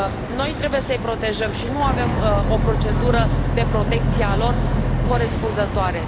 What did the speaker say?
Noi trebuie să i protejăm și nu avem o procedură de protecție a lor corespunzătoare.